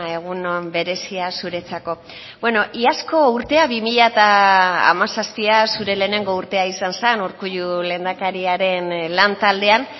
egun on berezia zuretzako iazko urtea bi mila hamazazpia zure lehenengo urtea izan zen urkullu lehendakariaren lantaldean